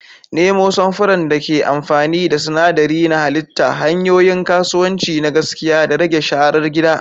Nemo samfuran da ke amfani da sinadarai na halitta, hanyoyin kasuwanci na gaskiya, da rage sharar gida.